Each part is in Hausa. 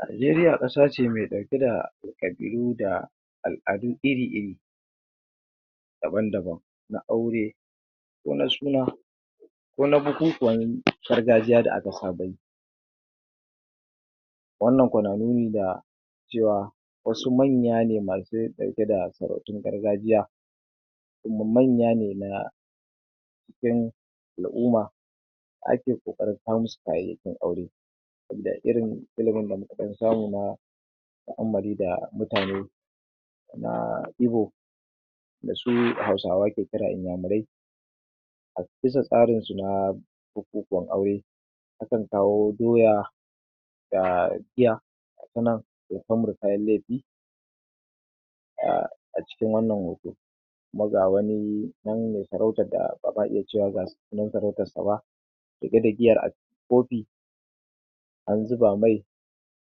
Najeriya ƙasa ce me ɗauke ƙabilu da al'adu iri-iri daban-daban na aure ko na suna ko na bukukuwan gargajiya da aka saba yi wannan kwa na nuni da cewa wasu manya ne masu ɗauke da sarautun gargajiya kuma manya ne cikin al'uma ake ƙoƙarin kawo musu kayayyakin aure sabida irin da muka ɗan samu na ta'ammali da mutane na Ibo da su Hausawa ke kira Inyamurai a bisa tsarinsu na bubukuwan aure akan kawo Doya da giya ga ta nan to kamru kayan lefe a a cikin wannan hoto kuma ga wani ɗan me farautar da aka a iya cewa ga su nan faratarsa ba tafe da giyar kofi an zuba mai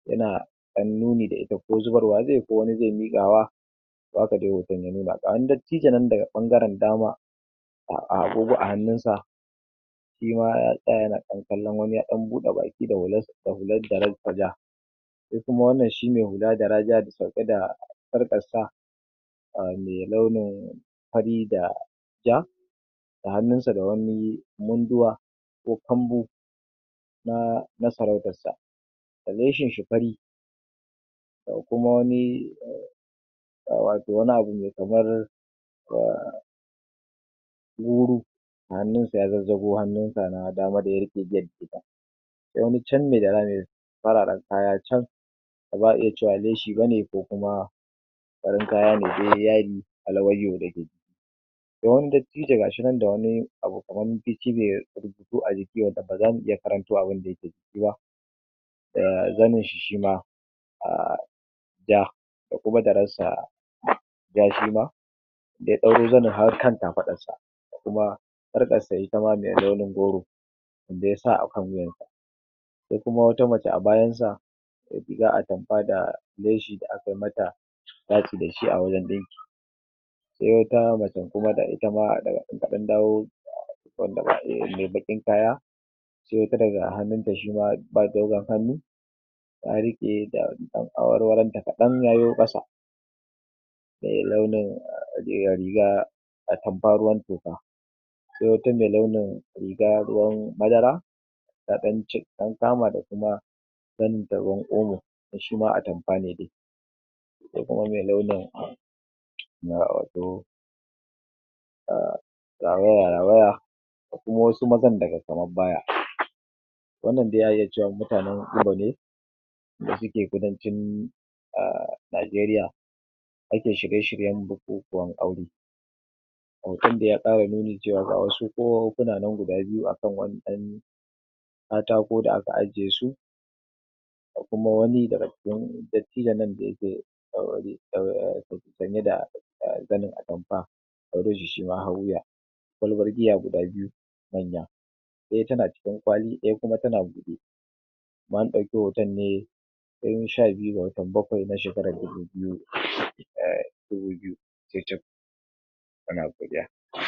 yana ɗan nuni da ita ko zubarwa ze ko wani ze miƙawa haka dai hoton ya nuna ga wani dattijo nan daga ɓangaren dama a agogo a hannunsa shi ma ya tsaya yana kallon wani ya ɗan bude baki hular da hular daran ko ja ko kuma wannan shi me hula dara ja sauke da sarƙarsa a me launin fari da ja a hannunsa da wani munduwa ko kambu na sarautarsa da leshinshi fari ga kuma wani um wani abu me kamar um guru a hannunsa ya zazzago hannunsa na dama da ya riƙe giyar da ita wani can me dara me fararan kaya can ba za a iya cewa leshi ba ne ko kuma farin kaya ne de yadialawaiyo wani dattijo ga shi nan da wani abu kamar rubutu a jiki wanda ba za mu iya karanto abinda yake ciki ba da zaninshi shi ma um da da kuma dararsa ja shi ma har kan kafarɗarsa kuma sarƙarsa ita ma me launin goro da ya sa akan wuyansa se kuma wata mace a bayansa me rigar Atamfa da leshi da akai mata faci da shi a wajen ɗinki se wata macen kuma da ita ma da an dawo me baƙin kaya se wata daga hannunta shi ba dogon hannu ta riƙe ga ɗan awarwaronta kaɗan yayo ƙasa me launin riga Atamfa ruwan toka ko wate launin riga ruwan madara ta dan cik ɗan kama da kuma zaninta ruwan omo shi ma Atamfa ne de kuma me launin um rawaya-rawaya ko kuma wasu mazan daga kamab baya wanda dai a iya cewa mutanen Igbo ne da suke kudancin a Najeriya ake shirye-shiryen bukukuwan aure hoton dai ya ƙara nuni cewa ga wasu ƙahohuna nan guda biyu akan wani ɗan katako da aka ajiye su ko kuma wani daban yake sanye da zanin Atamfa Odoji shi me har wuya kwalbar giya guda biyu wadda ɗaya tana cikin kwali ɗaya kuma tana buɗe na ɗauki hoton ne ran sha biyu ga watan bakwai na shekarar dubu biyu um dubu biyu cicif muna godiya um